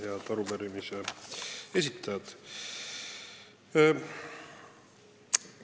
Head arupärimise esitajad!